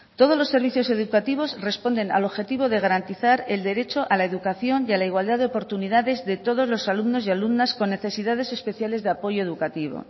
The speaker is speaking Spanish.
todos los servicios educativos responden al objetivo de garantizar el derecho a la educación y a la igualdad de oportunidades de todos los alumnos y alumnas con necesidades especiales de apoyo educativo